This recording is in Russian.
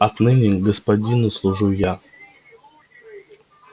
отныне господину служу я